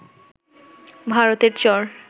ভারতের চর